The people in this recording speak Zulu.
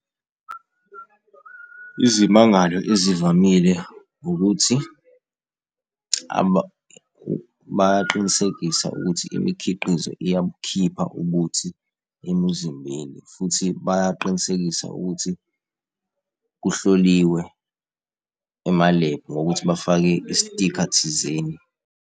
Izimangalo ezivamile ukuthi bayaqinisekisa ukuthi imikhiqizo iyabukhipha ubuthi emizimbeni, futhi bayaqinisekisa ukuthi kuhloliwe emalebhu ngokuthi bafake i-sticker thizeni.